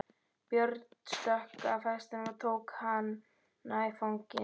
Björn stökk af hestinum og tók hana í fangið.